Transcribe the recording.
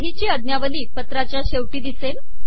सहीची आज्ञावली पत्राच्या शेवटी दिसेल